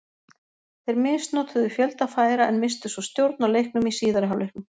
Þeir misnotuðu fjölda færa en misstu svo stjórn á leiknum í síðari hálfleiknum.